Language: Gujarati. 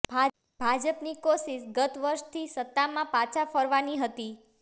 ભાજપની કોશિશ ગત વખતથી સત્તામાં પાછા ફરવાની હતી